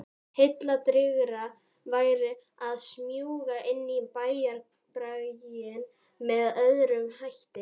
Heilladrýgra væri að smjúga inn í bæjarbraginn með öðrum hætti.